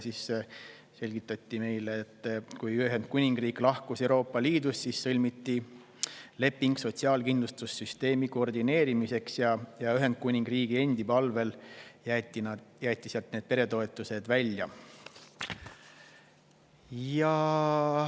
Siis selgitati meile, et kui Ühendkuningriik lahkus Euroopa Liidust, siis sõlmiti leping sotsiaalkindlustussüsteemi koordineerimiseks ja Ühendkuningriigi enda palvel jäeti sealt peretoetused välja.